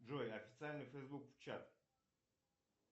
джой официальный фейсбук в чат